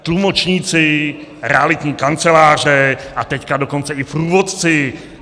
Tlumočníci, realitní kanceláře, a teď dokonce i průvodci.